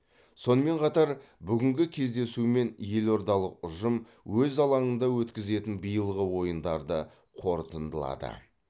сонымен қатар бүгінгі кездесумен елордалық ұжым өз алаңында өткізетін биылғы ойындарды қорытындылады